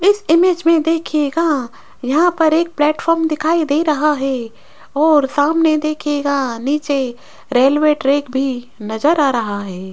इस इमेज में देखिएगा यहां पर एक प्लेटफार्म दिखाई दे रहा है और सामने देखिएगा नीचे रेलवे ट्रैक भी नजर आ रहा है।